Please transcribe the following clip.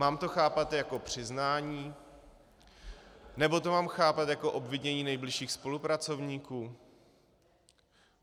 Mám to chápat jako přiznání, nebo to mám chápat jako obvinění nejbližších spolupracovníků?